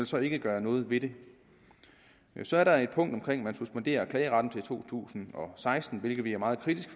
så ikke gøre noget ved det så er der et punkt om at man suspenderer klageretten frem til to tusind og seksten hvilket vi er meget kritiske